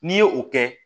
N'i ye o kɛ